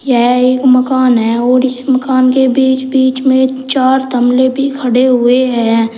यह एक मकान है और इस मकान के बीच बीच में चार तमले भी खड़े हुए हैं।